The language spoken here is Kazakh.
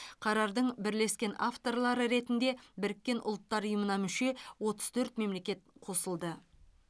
қарардың бірлескен авторлары ретінде біріккен ұлттар ұйымына мүше отыз төрт мемлекет қосылды